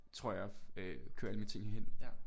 Tror jeg øh køre alle mine ting hen